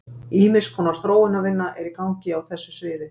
Ýmiss konar þróunarvinna er í gangi á þessu sviði.